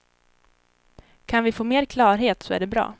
Kan vi få mer klarhet så är det bra.